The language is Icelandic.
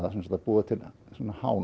búa til